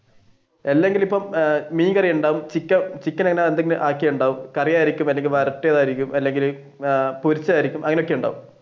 അല്ലെങ്കിൽ ഇപ്പോ മീൻകറി ഉണ്ടാവും ആക്കിയതുണ്ടാവും കറിയായിരിക്കും അല്ലെങ്കിൽ വരട്ടിയതായിരിക്കും അല്ലെങ്കിൽ പൊരിച്ചതായിരിക്കും അങ്ങനെ ഒക്കെയുണ്ടാവും.